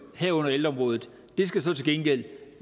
herunder ældreområdet skal så til gengæld